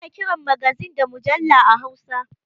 Ana kiran magazin da mujalla a hausa